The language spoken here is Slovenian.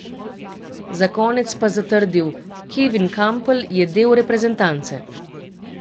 Za konec pa zatrdil: 'Kevin Kampl je del reprezentance.